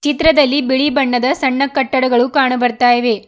ಚಿತ್ರದಲ್ಲಿ ಬಿಳಿ ಬಣ್ಣದ ಸಣ್ಣ ಕಟ್ಟಡಗಳು ಕಾಣ ಬರ್ತಾ ಇವೆ.